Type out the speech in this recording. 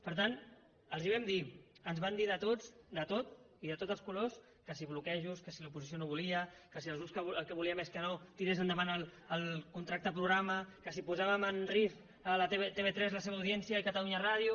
per tant els ho vam dir ens van dir de tot i de tots els colors que si bloquejos que l’oposició no volia que si els grups el que volíem és que no tirés endavant el contracte programa que si posàvem en risc tv3 la seva audiència i catalunya ràdio